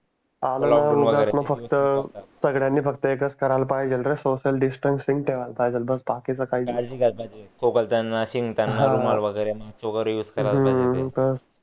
सगड्यांनी फक्त एकच करायला पाहिजे रे सोसीयल डिस्टन्स ठेवला पाहिजे बाकीच काही ही काळजी घ्यायाला पाहिजे खोकलताना शिंकताना हा रुमाल वगेरे मास्क वगेरे यूज कारला हम्म पाहिजे हा तर